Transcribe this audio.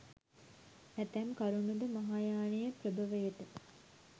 ඇතැම් කරුණු ද, මහායානයේ ප්‍රභවයට,